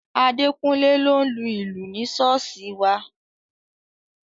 Adekunle ló ń lu ìlù ní ṣọ́ọ̀ṣì wa